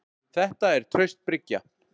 Þetta er traust bryggja.